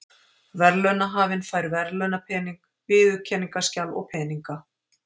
Verðlaunahafinn fær verðlaunapening, viðurkenningarskjal og peninga.